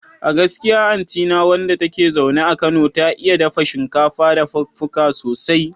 A gaskiya anti na wanda take zaune a Kano, ta iya dafa shinkafa dafaduka sosai